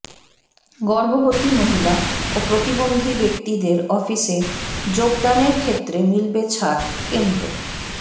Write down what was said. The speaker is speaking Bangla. গর্ভবতী মহিলা ও প্রতিবন্ধী ব্যক্তিদের অফিসে যোগদানের ক্ষেত্রে মিলবে ছাড়ঃ কেন্দ্র